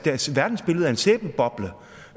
sæbeboble